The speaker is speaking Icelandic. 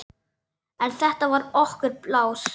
En þetta var okkar pláss.